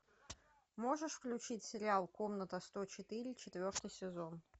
можешь включить сериал комната сто четыре четвертый сезон